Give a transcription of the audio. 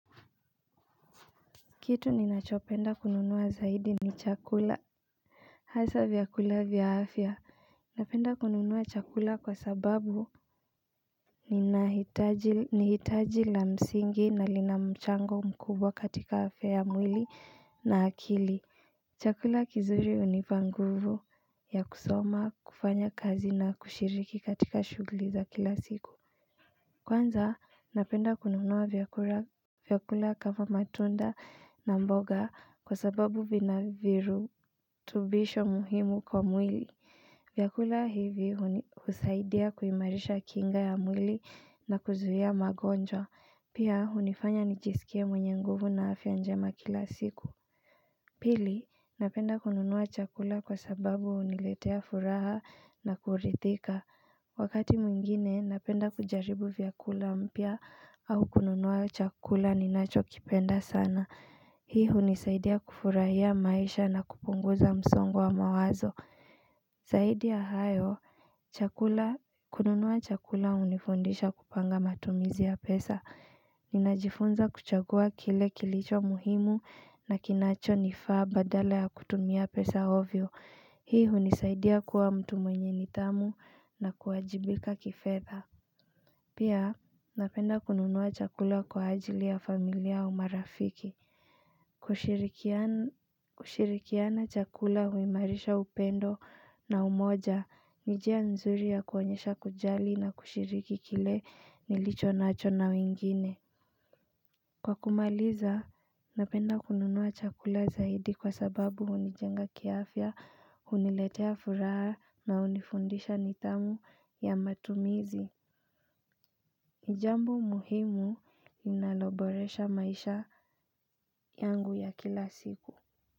Kitu ninachopenda kununua zaidi ni chakula Hasa vyakula vya afya Napenda kununua chakula kwa sababu ni hitaji la msingi na lina mchango mkubwa katika afya ya mwili na akili chakula kizuri hunipa nguvu ya kusoma kufanya kazi na kushiriki katika shuguli za kila siku Kwanza napenda kununua vyakula kama matunda na mboga kwa sababu vina virutubisho muhimu kwa mwili vyakula hivi husaidia kuimarisha kinga ya mwili na kuzuia magonjwa Pia hunifanya nijisikie mwenye nguvu na afya njema kila siku Pili napenda kununua chakula kwa sababu huniletea furaha na kuridhika Wakati mwingine, napenda kujaribu vyakula mpya au kununua chakula ninacho kipenda sana. Hii hunisaidia kufurahia maisha na kupunguza msongwa mawazo. Zaidi ya hayo, kununua chakula hunifundisha kupanga matumizi ya pesa. Ninajifunza kuchagua kile kilicho muhimu na kinacho nifaa badala ya kutumia pesa ovyo. Hii hunisaidia kuwa mtu mwenye nidhamu na kuwajibika kifedha Pia napenda kununua chakula kwa ajili ya familia au marafiki kushirikiana chakula huimarisha upendo na umoja Nijia nzuri ya kuonyesha kujali na kushiriki kile nilicho nacho na wingine Kwa kumaliza, napenda kununua chakula zaidi kwa sababu hunijenga kiafya huniletea furaha na hunifundisha nidhamu ya matumizi ni jambo muhimu linaloboresha maisha yangu ya kila siku.